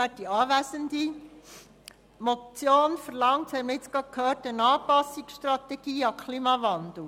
Die Motion verlangt eine Anpassungsstrategie an den Klimawandel.